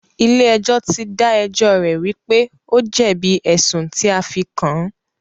Ilé ẹjọ́ tí dá ẹjọ́ rẹ̀ wípé o jẹ̀bi ẹ̀sùn tí a fí kàn án.